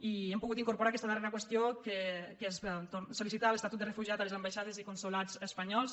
i hem pogut incorporar aquesta darrera qüestió que és sol·licitar l’estatut de refugiat a les ambaixades i consolats espanyols